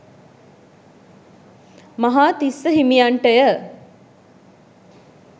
Mahatissa හිමියන්ටය.